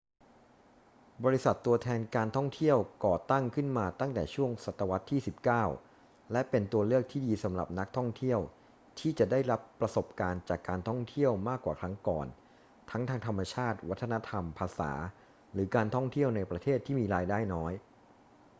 บริษัทตัวแทนการท่องเที่ยวก่อตั้งขึ้นมาตั้งแต่ช่วงศตวรรษที่ 19 และเป็นตัวเลือกที่ดีสำหรับนักท่องเที่ยวที่จะได้รับประสบการณ์จากการท่องเที่ยวมากกว่าครั้งก่อน ทั้งทางธรรมชาติ วัฒนธรรม ภาษา หรือการท่องเที่ยวในประเทศที่มีรายได้น้อย